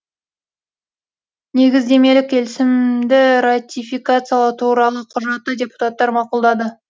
негіздемелік келісімді ратификациялау туралы құжатты депутаттар мақұлдады